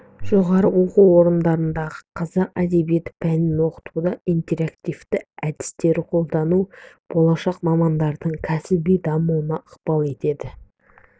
жоғары оқу орындарындағы қазақ әдебиеті пәнін оқытуда интерактивті әдістерді қолдану болашақ мамандардың кәсіби дамуына ықпал етеді